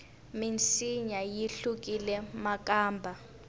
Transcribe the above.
minsinya yi hlukile makamba